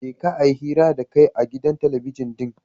jeka a yi hira da kai a gidan talabijin ɗin.